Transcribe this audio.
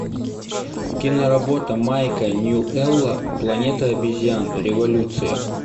киноработа майка ньюэлла планета обезьян революция